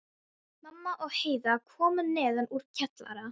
Mamma og Heiða komu neðan úr kjallara.